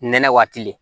Nɛnɛ waati